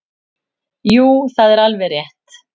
Jú það er alveg rétt.